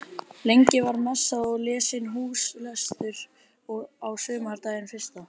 Lengi var messað og lesinn húslestur á sumardaginn fyrsta.